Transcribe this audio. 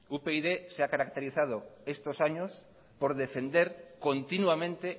upyd se ha caracterizado estos años por defender continuamente